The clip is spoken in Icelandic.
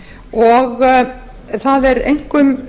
og það er einkum